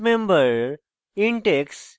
int x